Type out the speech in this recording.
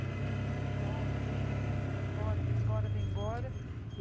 Os irmãos, não, volta, vem, imagina, vem embora, vem embora, vem embora.